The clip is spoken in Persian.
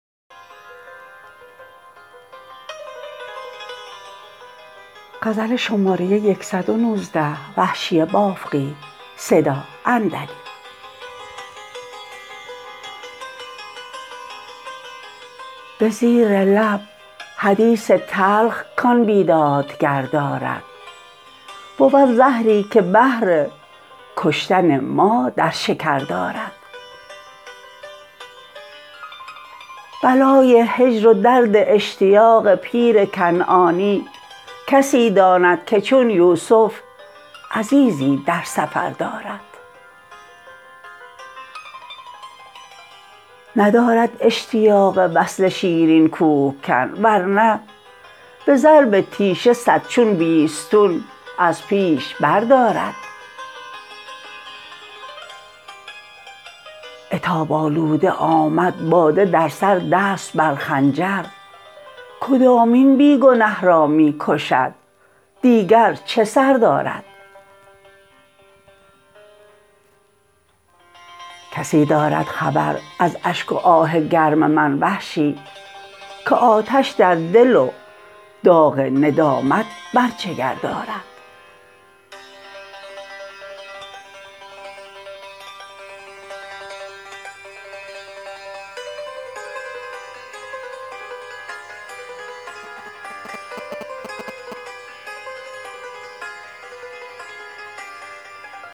به زیر لب حدیث تلخ کـآن بیدادگر دارد بود زهری که بهر کشتن ما در شکر دارد بلای هجر و درد اشتیاق پیر کنعانی کسی داند که چون یوسف عزیزی در سفر دارد ندارد اشتیاق وصل شیرین کوهکن ورنه به ضرب تیشه صد چون بیستون از پیش بردارد عتاب آلوده آمد باده در سر دست بر خنجر کدامین بی گنه را می کشد دیگر چه سر دارد کسی دارد خبر از اشک و آه گرم من وحشی که آتش در دل و داغ ندامت بر جگر دارد